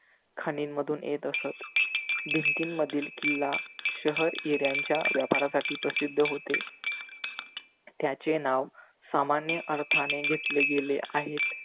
खाणींमधून मधून येत असत. भिंती मधील किल्ला शहर हिर्‍यांच्या व्यापारासाठी प्रसिद्ध होते. त्याचे नाव सामान्य अर्थाने घेतले गेले आहेत.